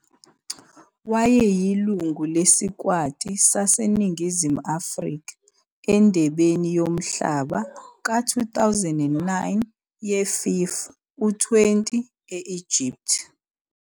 Wayeyilungu lesikwati saseNingizimu Afrika eNdebeni yoMhlaba ka- 2009 ye-FIFA U-20 e-Egypt.